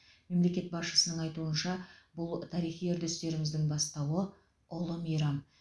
мемлекет басшысының айтуынша бұл тарихи үрдерістеріміздің бастауы ұлы мейрам